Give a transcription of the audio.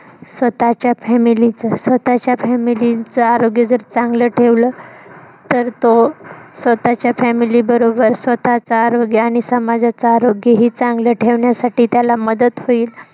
स्वतःच्या family च स्वतःच्या family च आरोग्य जर, चांगलं ठेवलं तर, तो स्वतःच्या family बरोबर स्वतःच आरोग्य आणि समाजाच आरोग्यही चांगलं ठेवण्यासाठी त्याला मदत होईल.